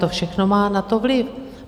To všechno má na to vliv.